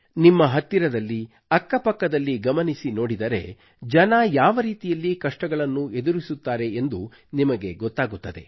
ನಿಮ್ಮ ಹತ್ತಿರದಲ್ಲಿ ಅಕ್ಕ ಪಕ್ಕದಲ್ಲಿ ಗಮನಿಸಿ ನೋಡಿದರೆ ಜನರು ಯಾವ ರೀತಿಯಲ್ಲಿ ಕಷ್ಟಗಳನ್ನು ಎದುರಿಸುತ್ತಾರೆ ಎಂದು ನಿಮಗೆ ಗೊತ್ತಾಗುತ್ತದೆ